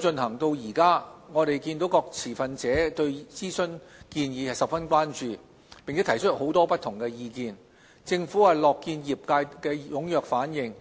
進行至今，我們看見各持份者對諮詢建議十分關注，並提出了很多不同的意見，政府樂見業界的踴躍反應。